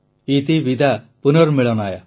ଇତିବିଦା ପୁନର୍ମିଳନାୟ